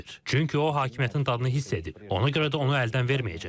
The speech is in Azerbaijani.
Çünki o hakimiyyətin dadını hiss edib, ona görə də onu əldən verməyəcək.